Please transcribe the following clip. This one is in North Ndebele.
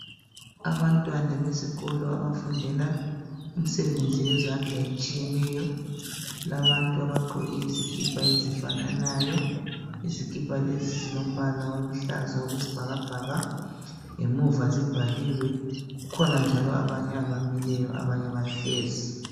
Abantwana besikolo abafundela imisebenzi yezandla etshiyeneyo. Kulabantu abagqoke izikipa ezifananayo . Izikipa lezo zilombal oluhlaza okwesibhakabhaka , ngemuva zibhaliwe. Kukhona njalo abanye abmileyo abanye bahlezi.